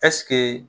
Ɛseke